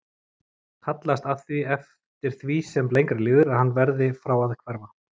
Hallast að því eftir því sem lengra líður að hann verði frá að hverfa.